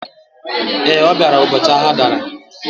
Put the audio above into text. Ee, ọ bịara ụbọchị agha dara